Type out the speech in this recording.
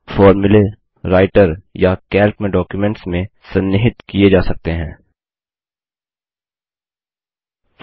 फोर्मुले Writer या Calc में documents में सन्निहितएम्बेडेड किये जा सकते हैं